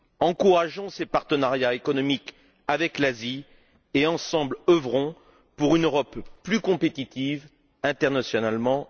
Encourageons ces partenariats économiques avec l'Asie et, ensemble, œuvrons pour une Europe plus compétitive internationalement.